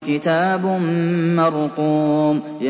كِتَابٌ مَّرْقُومٌ